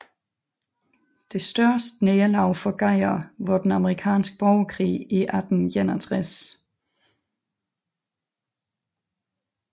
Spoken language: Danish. Det største nederlag for Geyer var den amerikanske borgerkrig i 1861